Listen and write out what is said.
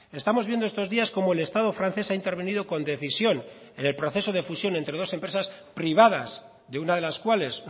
estamos viendo estos días cómo el estado francés ha intervenido con decisión en el proceso de fusión entre dos empresas privadas de una de las cuales